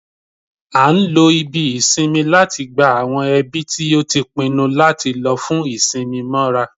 A n lo ibí isínmì láti gbá awọn ẹbi ti o tí pinnu lati lò fún isinmi móra